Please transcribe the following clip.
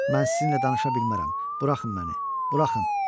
Mən sizinlə danışa bilmərəm, buraxın məni, buraxın.